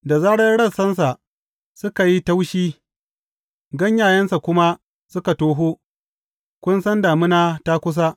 Da zarar rassansa suka yi taushi ganyayensa kuma suka toho, kun san damina ta kusa.